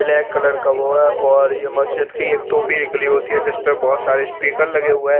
Black colour का वो है और ये मजीद की टोपी निकली हुई होती है जिस पे बहोत सारे स्पीकर निकले होते है।